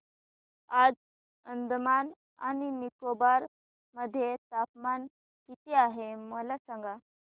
आज अंदमान आणि निकोबार मध्ये तापमान किती आहे मला सांगा